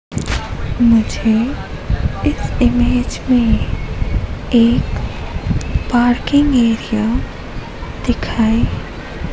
मुझे इस इमेज में एक पार्किंग एरिया दिखाई--